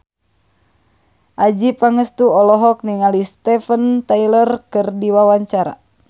Adjie Pangestu olohok ningali Steven Tyler keur diwawancara